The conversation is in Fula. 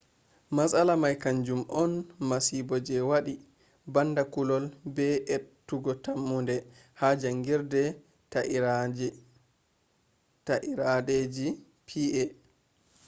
matsala may kanjum on masibo je wadi banda kullol be ettugo tammunde ha jangirde ta'irdeji pa